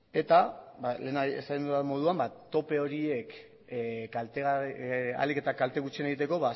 eta lehen esan dudan moduan tope horiek ahalik eta kalte gutxien egiteko